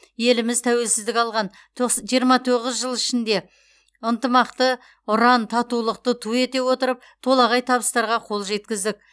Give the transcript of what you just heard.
еліміз тәуелсіздік алған төқс жиырма тоғыз жыл ішінде ынтымақты ұран татулықты ту ете отырып толағай табыстарға қол жеткіздік